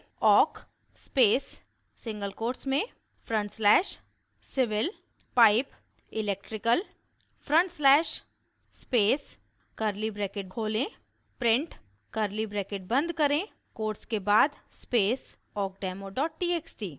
awk space single quotes में front slash civil pipe electrical front slash space curly bracket खोलें {print} curly bracket बंद करें quotes के बाद स्पेस awkdemotxt